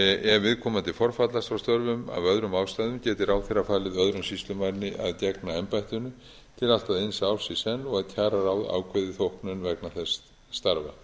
ef viðkomandi forfallast frá störfum af öðrum ástæðum geti ráðherra falið öðrum sýslumanni að gegna embættinu til allt að eins árs í senn og að kjararáð ákveði þóknun vegna þess starfa